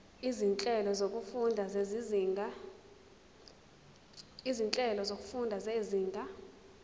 izinhlelo zokufunda zezinga